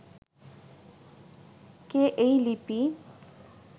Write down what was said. কে এই লিপি